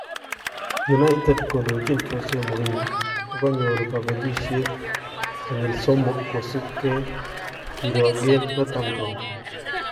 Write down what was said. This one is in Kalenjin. United kondochin Jose Mourinho kokanyoor kabelisyeet konyill somook kosubkee kirooken Northampton